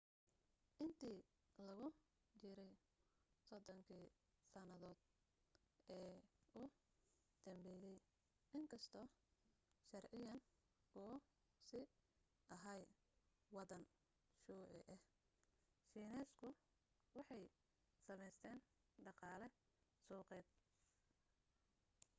intii lagu jiray soddonkii sanadood ee u dambeeyay in kastoo sharciyan uu sii ahaa waddan shuuci ah shiineysku waxay samaysteen dhaqaale suuqeed